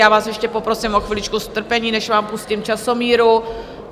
Já vás ještě poprosím o chviličku strpení, než vám pustím časomíru.